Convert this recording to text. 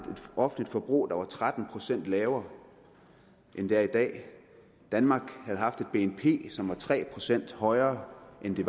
offentligt forbrug der var tretten procent lavere end det er i dag danmark havde haft et bnp som var tre procent højere end det